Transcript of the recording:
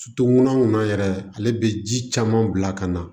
ŋɔnɔ yɛrɛ ale be ji caman bila ka na